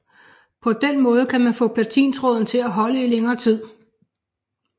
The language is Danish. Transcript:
På den måde kan man få platintråden til at holde i længere tid